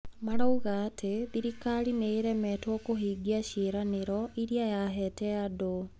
Marauga atĩ thirikari nĩ ĩremetwo kũhingia ciĩranĩro iria yahete andũ.